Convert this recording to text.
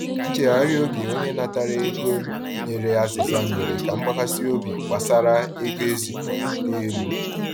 Nchegharị oge onye natara ego nyere azịza mere ka mgbakasị obi gbasara ego ezipụrụ too elu.